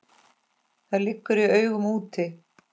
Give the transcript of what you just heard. Það liggur í augum úti.